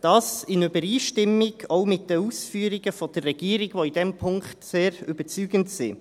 dies auch in Übereinstimmung mit den Ausführungen der Regierung, die in diesem Punkt sehr überzeugend sind.